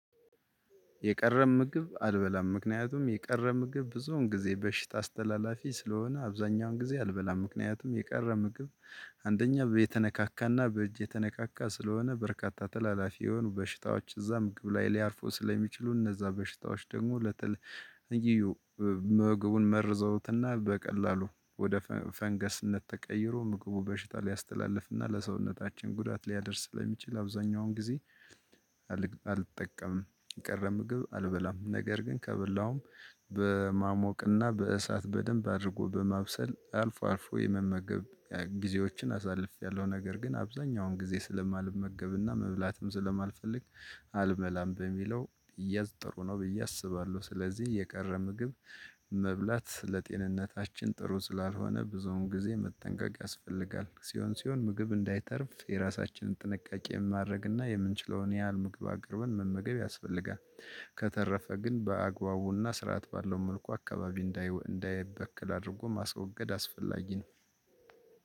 የቀረበ ምግብ አልበላም ምክንያቱም የቀረበ ምግብ ብዙውን ጊዜ በሽታ አስተላላፊ ስለሆነ አብዛኛውን ጊዜ አልበላም ምክንያቱም የቀረ ምግብ። አንደኛ በተነካካና በእጅ የተነካካ ስለሆነ በርካታ ተላላፊ የሆኑ በሽታዎች እዛ ምግብ ላይ ሊያርፈው ስለሚችሉ እነዛ በሽታዎች ደግሞ ለተለ መገቡን ምግቡን መርዘውትና በቀላሉ ወደ ፈንገስነት ተቀይሮ ምግቡ በሽታ ሊያስተላልፍና ለሰውነታችን ጉዳት ሊያደርስ ለሚችል አብዛኛውን ጊዜ። አልጠቀምም። ቀረ ምግብ አልበላም ነገር ግን ከበላውም በማሞቅና በእሳት በደንብ አድርጎ በማብሰል አልፎ አልፎ የመመገብ ጊዜዎችን አሳልፌያለሁ። ነገር ግን አብዛኛውን ጊዜ ስለማልመገብና መብላትም ስለማልፈልግ አልመላም በሚለው እያዝ ጥሩ ነው ብዬ አስባለሁ። ስለዚህ የቀረ ምግብ መብላት ለጤንነታችን ጥሩ ስላልሆነ ብዙውን ጊዜ መጠንቀቅ ያስፈልጋል ሲሆን ሲሆን ምግብ እንዳይተርፍ የራሳችንን ጥንቃቄ የማድረግና የምንችለውን ያህል ምግብ አቅርበን መመገብ ያስፈልጋል። ከተረፈ ግን በአግባቡና ስርዓት ባለው መልኩ አካባቢ እንዳይበክል አድርጎ ማስወገድ አስፈላጊ ነው።